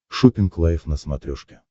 шоппинг лайв на смотрешке